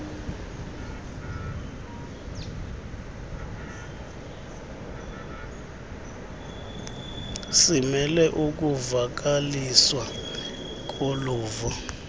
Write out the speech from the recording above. simele ukuvakaliswa koluvo